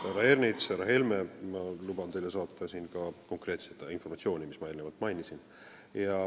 Härra Ernits ja härra Helme, ma luban teile saata konkreetset informatsiooni, mida ma eelnevalt mainisin.